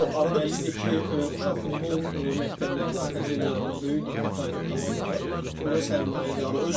Yox, arada biz Bəllidir ki, uşaq futbol məktəblərinə, akademiyalarına böyük diqqət ayıran komandalar ora sərmayə.